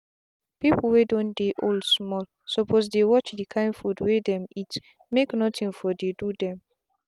people wey don dey old small suppose dey watch the kind food wey dem eatmake nothing for dey do dem.